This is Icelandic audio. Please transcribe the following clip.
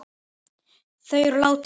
Þau eru látin.